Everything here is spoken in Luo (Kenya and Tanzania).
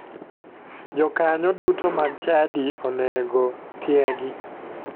Jokanyo duto mag chadi onego tiegi.